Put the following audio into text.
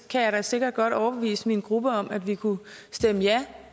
kan jeg da sikkert godt overbevise min gruppe om at vi kunne stemme